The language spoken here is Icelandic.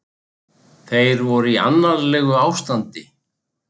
Þeir voru í annarlegu ástandi